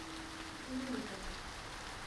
линкольн